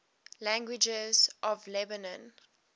languages of lebanon